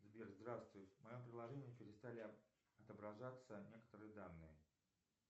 сбер здравствуй в моем приложении перестали отображаться некоторые данные